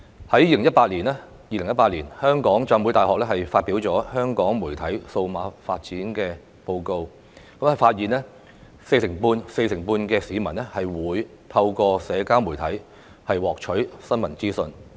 香港浸會大學在2018年發表香港媒體數碼發展報告，發現有四成半市民會透過社交媒體獲取新聞資訊。